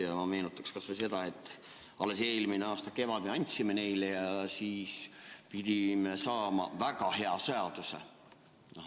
Ja ma meenutan kas või seda, et alles eelmise aasta kevadel me käsitlesime seda ja pidime saama väga hea seaduse.